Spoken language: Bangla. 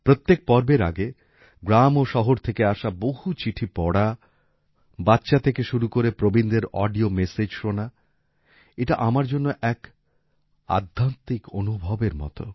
প্রত্যেক পর্বের আগে গ্রাম ও শহর থেকে আসা বহু চিঠি পড়া বাচ্চা থেকে শুরু করে প্রবীণদের অডিও মেসেজ শোনা এটা আমার জন্য এক আধ্যাত্মিক অনুভবের মত